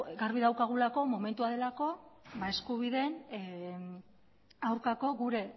garbi daukagulako momentua delako eskubideen aurkako gure